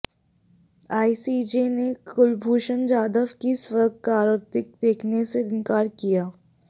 ICJ ने कुलभूषण जाधव की स्वीकारोक्ति देखने से इनकार किया